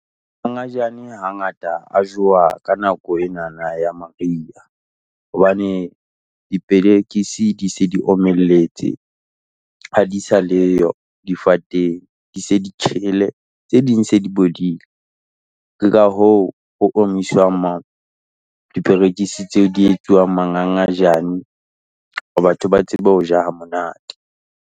Mangangajane hangata a jowa ka nako enana ya maria, hobane diperekisi di se di omelletse, ha di sa leyo difateng, di se di tjhele. Tse ding se di bodile, ke ka hoo ho omiswang ma diperekisi tseo di etsuwang mangangajane hore batho ba tsebe ho ja ha monate.